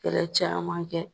Kɛlɛ caya man kɛ.